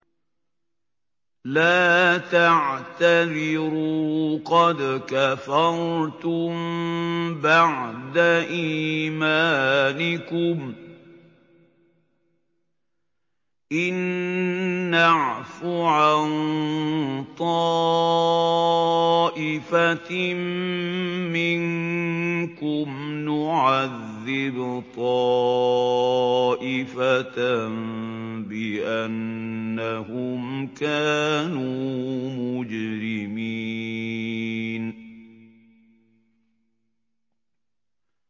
لَا تَعْتَذِرُوا قَدْ كَفَرْتُم بَعْدَ إِيمَانِكُمْ ۚ إِن نَّعْفُ عَن طَائِفَةٍ مِّنكُمْ نُعَذِّبْ طَائِفَةً بِأَنَّهُمْ كَانُوا مُجْرِمِينَ